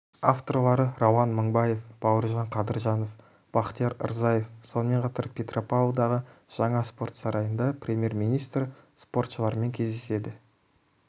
авторлары рауан мыңбаев бауыржан қадыржанов бахтияр рзаев сонымен қатар петропавлдағы жаңа спорт сарайында премьер-министр спортшылармен кездеседі